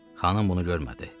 Xanım bunu görmədi.